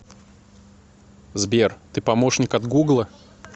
сбер ты помощник от гугла